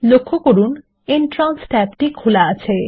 লক্ষ্য করুন এন্ট্রান্স ট্যাবটি খোলা আছে